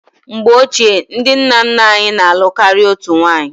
Mgbe ochie, ndị nna nna anyị na-alụ karịa otu nwunye.